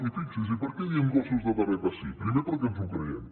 i fixi’s i per què diem gossos de teràpia sí primer perquè ens ho creiem